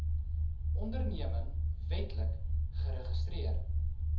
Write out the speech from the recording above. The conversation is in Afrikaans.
onderneming wetlik geregistreer